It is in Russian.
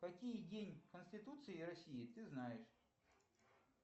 какие день конституции и россии ты знаешь